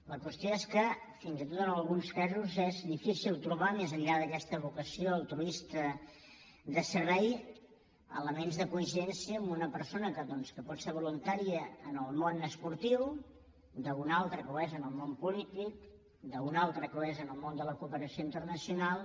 la qüestió és que fins i tot en alguns casos és difícil trobar més enllà d’aquesta vocació altruista de servei elements de coincidència d’una persona que doncs pot ser voluntària en el món esportiu amb una altra que ho és en el món polític amb una altra que ho és en el món de la cooperació internacional